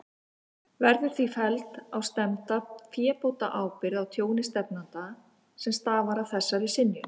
Verður því felld á stefnda fébótaábyrgð á tjóni stefnanda, sem stafar af þessari synjun.